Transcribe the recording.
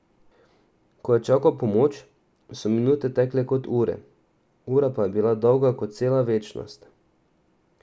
Ko je čakal pomoč, so minute tekle kot ure, ura pa je bila dolga kot cela večnost.